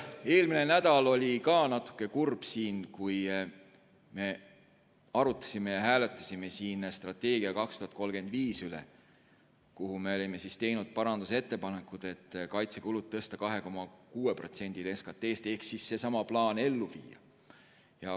Eelmisel nädalal oli ka natuke kurb, kui me arutasime ja hääletasime siin "Eesti 2035" strateegia üle, kuhu me olime teinud parandusettepanekud tõsta kaitsekulud 2,6%-le SKT-st ehk siis viia seesama plaan ellu.